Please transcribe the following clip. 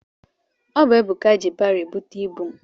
Ọ bụ Ebuka ji baro ebute ibu m.